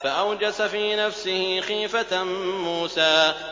فَأَوْجَسَ فِي نَفْسِهِ خِيفَةً مُّوسَىٰ